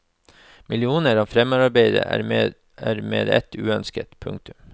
Millioner av fremmedarbeidere er med ett uønsket. punktum